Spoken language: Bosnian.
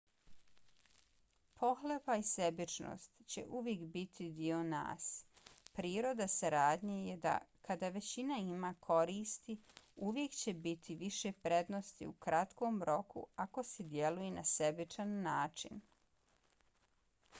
pohlepa i sebičnost će uvijek biti dio nas. priroda saradnje je da kada većina ima koristi uvijek će biti više prednosti u kratkom roku ako se djeluje na sebičan način